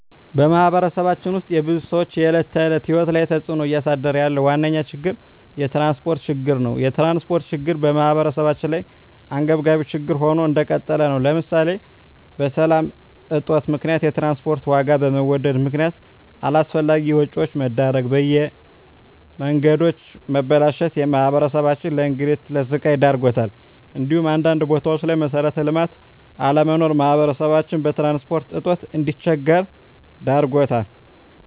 በማህበረሰባችን ውስጥ የብዙ ሰዎች የዕለት ተዕለት ህይወት ላይ ተፅእኖ እያሳደረ ያለው ዋነኛ ችግር የትራንስፖርት ችግር ነው። የትራንስፖርት ችግር በማህበረሰባችን ላይ አንገብጋቢ ችግር ሆኖ እንደቀጠለ ነው ለምሳሌ በሰላም እጦት ምክንያት የትራንስፖርት ዋጋ በመወደድ ምክነያት አላስፈላጊ ወጪዎች መዳረግ፣ የመንገዶች መበላሸት ማህበረሰባችንን ለእንግልትና ለስቃይ ዳርጓታል እንዲሁም አንዳንድ ቦታዎች ላይ መሠረተ ልማት አለመኖር ማህበረሰባችን በትራንስፖርት እጦት እንዲቸገር ዳርጎታል።